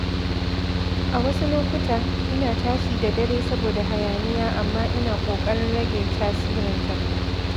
A wasu lokuta, ina tashi da dare saboda hayaniya amma ina ƙoƙarin rage tasirinta.